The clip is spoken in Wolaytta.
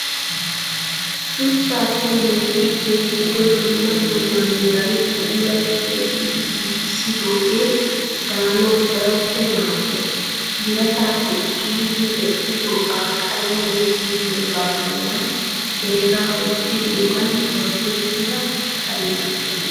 Shuchchappe loytti keexxiddo dumma dumma meran puulayi keexxidi giigissidoogee daanawu daroppe maaddees. Biratappe ciiridi medhdhidooga qalamiyan ti'idooga bollan heregaa wottidoogan gorddettida kariyaa.